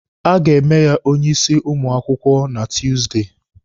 A ga-eme ya onye isi ụmụ akwụkwọ na Tuusdey.